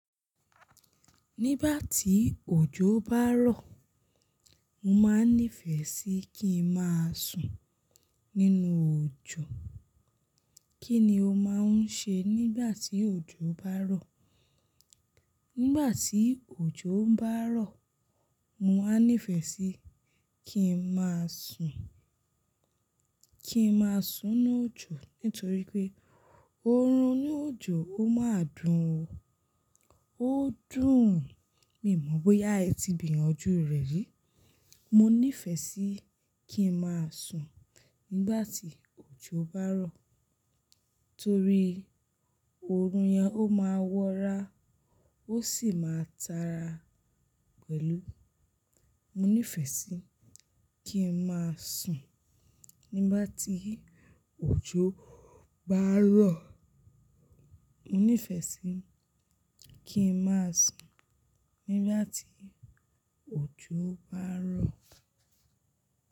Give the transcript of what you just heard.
Nígbà tí òjò bá rọ̀, mo máa nífẹ̀ẹ́ sí kí ń máa sùn nínú òjò. Kí ni o máa ń ṣe nígbà tí òjò bá rọ̀? Nígbà tí òjò ń bá rọ̀, mo máa nífẹ̀ẹ́ sí kí ń máa sùn, kí ń máa sùn lójò nítorí pé oorun ní òjò ó máa dùn o. Ó dùn. Mi ò mọ̀ bóyá ẹ ti gbiyanju rẹ rí. Mo nífẹ̀ẹ́ sí kí ń máa sùn nígbà tí òjò bá rọ̀ torí oorun yẹn ó máa wọ́ra ó sì máa tara pẹ̀lú. Mo nífẹ̀ẹ́ sí kí ń máa sùn nígbà tí òjò bá rọ̀. Mo nífẹ̀ẹ́ sí kí ń máa sùn nígbà tí òjò bá rọ̀